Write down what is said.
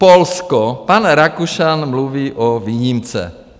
Polsko - pan Rakušan mluví o výjimce.